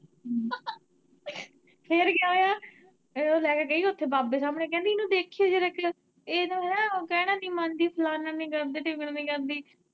ਫਿਰ ਓਹ ਲੈ ਕੇ ਗਈ ਓੱਥੇ ਬਾਬੇ ਸਾਹਮਣੇ, ਕਹਿੰਦੀ ਇਨੂੰ ਦੇਖਿਓ ਜਰਾ ਕ ਇਹ ਤ ਨਾ ਕਹਿਣਾ ਨੀ ਮੰਨਦੀ, ਫਲਾਨਾ ਨੀ ਕਰਦੀ, ਡਿੱਗਣਾ ਨੀ ਕਰਦੀ।